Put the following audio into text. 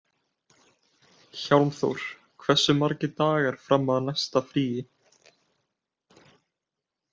Hjálmþór, hversu margir dagar fram að næsta fríi?